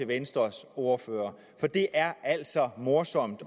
venstres ordfører for det er altså morsomt